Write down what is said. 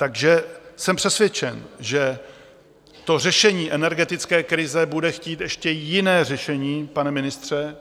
Takže jsem přesvědčen, že to řešení energetické krize bude chtít ještě jiné řešení, pane ministře,